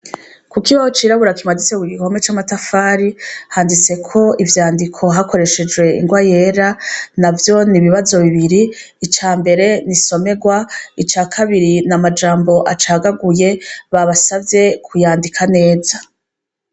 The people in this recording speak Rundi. Kukibaho cirabura kimaditse kugihome c’amatafari , handitseko ivyandiko hakoreshejwe ingwa yera, navyo n’ibibazo bibiri, icambere n’insomerwa, icakabiri n’amajambo acagaguye babasavye kuyandika neza.